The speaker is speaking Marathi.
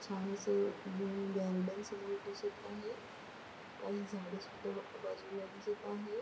छान असं नवीन गार्डन समोर दिसत आहे काही झाड़े सुद्धा ब बाजूला दिसत आहे.